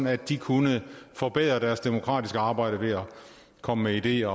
at de kunne forbedre deres demokratiske arbejde ved at komme med ideer